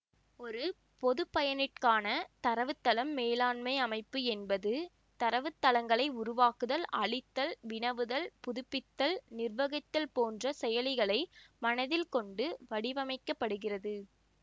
ஒரு பொதுப்பயனிற்கான தரவுத்தளம் மேலாண்மை அமைப்பு என்பது தரவுத்தளங்களை உருவாக்குதல் அழித்தல் வினவுதல் புதுப்பித்தல் நிர்வகித்தல் போன்று செயலிகளை மனதில் கொண்டு வடிவமைக்கப்படுகிறது